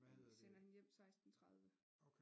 De sender hende hjem 16 30